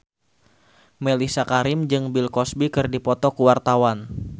Mellisa Karim jeung Bill Cosby keur dipoto ku wartawan